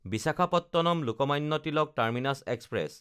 বিশাখাপট্টনম–লোকমান্য Tilak terminus express